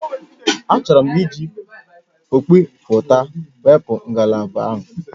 Achọrọ m iji ọkpịpụta wepụ ngalaba a